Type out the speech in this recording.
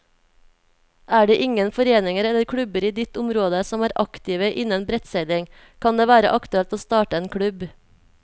Er det ingen foreninger eller klubber i ditt område som er aktive innen brettseiling, kan det være aktuelt å starte en klubb.